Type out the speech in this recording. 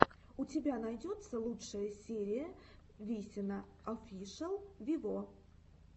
у тебя найдется лучшая серия висина офишел виво